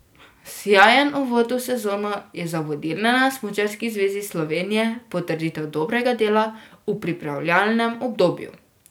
Sijajen uvod v sezono je za vodilne na Smučarski zvezi Slovenije potrditev dobrega dela v pripravljalnem obdobju.